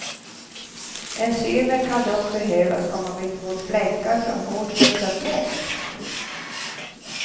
Enzymer kan dock behövas om man vill få bort fläckar från hårt smutsad tvätt.